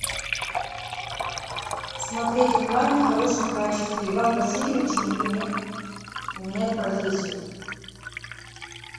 смотреть онлайн в хорошем качестве иван васильевич меняет профессию